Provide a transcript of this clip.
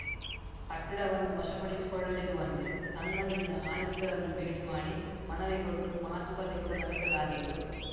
ಕಟ್ಟಡವನ್ನು ವಶಪಡಿಸಿಕೊಳ್ಳದಿರುವಂತೆ ಸಂಘದಿಂದ ಆಯುಕ್ತರನ್ನು ಭೇಟಿ ಮಾಡಿ ಮನವಿ ಕೊಟ್ಟು ಮಾತುಕತೆ ಕೂಡಾ ನಡೆಸಲಾಗಿತ್ತು